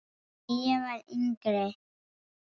Þegar ég var yngri.